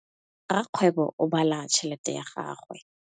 Rakgwêbô o bala tšheletê ya gagwe.